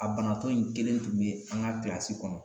A banatɔ in kelen tun be an ka kilasi kɔnɔ